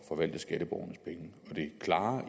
forvalte skatteborgernes penge det klare